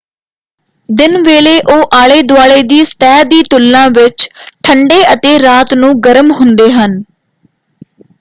"ਦਿਨ ਵੇਲੇ ਉਹ ਆਲੇ ਦੁਆਲੇ ਦੀ ਸਤਹ ਦੀ ਤੁਲਨਾ ਵਿੱਚ ਠੰਡੇ ਅਤੇ ਰਾਤ ਨੂੰ ਗਰਮ ਹੁੰਦੇ ਹਨ।